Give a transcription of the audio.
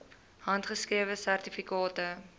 handgeskrewe sertifikate